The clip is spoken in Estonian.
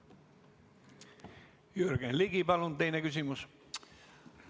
Jürgen Ligi, palun teine küsimus!